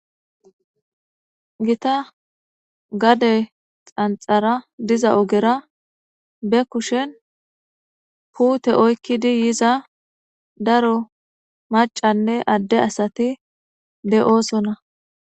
Githa gade xanxxara diza ogera be kushen puuthe oykkidi yiza daro maccanne adde asathi de7oosona.